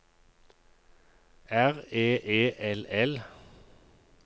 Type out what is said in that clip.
R E E L L